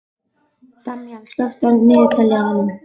Damjan, slökktu á niðurteljaranum.